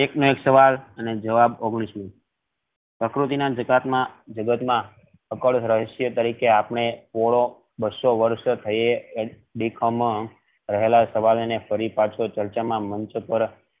એક નો એક સવાલ અને જવાબ ઓગણીશ મોં પ્રકૃતિ ના જગત માં રહસ્ય દેખાવ માં ફરી પાછો ચર્ચા માં મૂકી